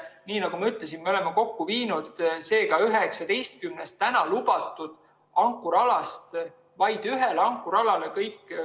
Nii nagu ma ütlesin, me oleme viinud selle tegevuse, mis puudutab STS‑i, 19-lt praegu lubatud ankrualalt vaid ühele ankrualale.